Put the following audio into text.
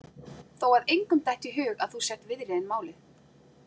Þó að engum detti í hug að þú sért viðriðin málið.